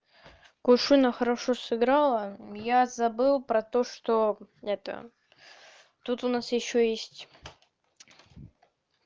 кушуна хорошо сыграла я забыл про то что это тут у нас ещё есть